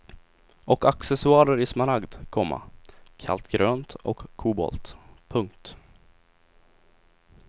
Och accessoarer i smaragd, komma kallt grönt och kobolt. punkt